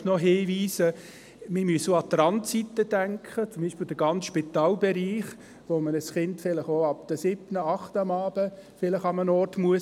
Ich möchte noch darauf hinweisen, dass wir auch an die Randzeiten denken müssen, zum Beispiel im Spitalbereich, wo man ein Kind vielleicht auch ab 19 Uhr, 20 Uhr abends irgendwo hingeben können muss.